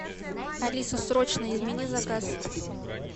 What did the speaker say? алиса срочно измени заказ